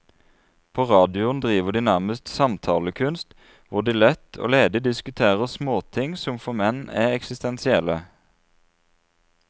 På radioen driver de nærmest samtalekunst, hvor de lett og ledig diskuterer småting som for menn er eksistensielle.